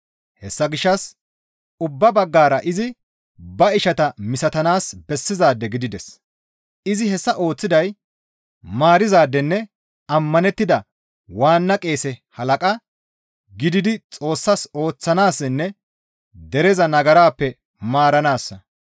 Hessa gishshas ubba baggara izi ba ishata misatanaas bessizaade gidides; izi hessa ooththiday maarizaadenne ammanettida waanna qeese halaqa gididi Xoossas ooththanaassinne dereza nagarappe maaranaassa.